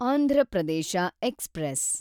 Andhra Pradesh express